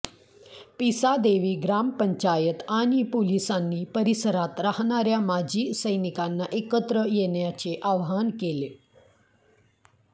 पिसादेवी ग्रामपंचायत आणि पोलिसांनी परिसरात राहणाऱ्या माजी सैनिकांना एकत्र येण्याचं आवाहन केलं